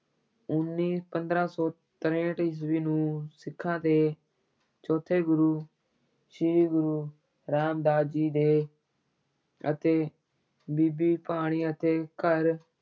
ਉੱਨੀ ਪੰਦਰਾਂ ਸੌ ਤਰੇਹਠ ਈਸਵੀ ਨੂੰ ਸਿੱਖਾਂ ਦੇ ਚੌਥੇ ਗੁਰੂ ਸ੍ਰੀ ਗੁਰੂ ਰਾਮਦਾਸ ਜੀ ਦੇ ਅਤੇ ਬੀਬੀ ਭਾਨੀ ਅਤੇ ਘਰ